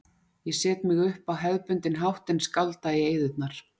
Ég set mig upp á hefðbundinn hátt en skálda í eyðurnar.